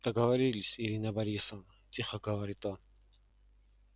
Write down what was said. договорились ирина борисовна тихо говорит он